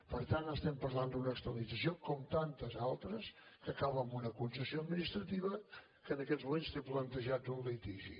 per tant estem parlant d’una externalització com tantes altres que acaba amb una concessió administrativa que en aquests moments té plantejat un litigi